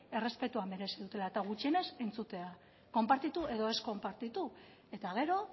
errespetua merezi dutela eta gutxienez entzutea konpartitu edo ez konpartitu eta gero